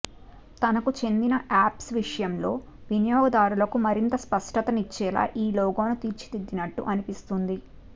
తనకు చెందిన యాప్స్ల విషయంలో వినియోగదారులకు మరింత స్పష్టత నిచ్చేలా ఈ లోగోను తీర్చిదిద్దినట్లు అనిపిస్తోంది